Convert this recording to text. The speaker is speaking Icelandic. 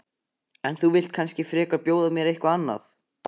En þú vilt kannski frekar bjóða mér eitthvað annað?